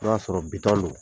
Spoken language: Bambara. N'o y'a sɔrɔ do.